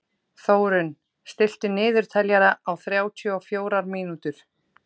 Þórunn, stilltu niðurteljara á þrjátíu og fjórar mínútur.